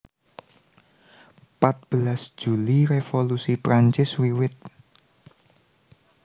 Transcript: Patbelas Juli Revolusi Prancis wiwit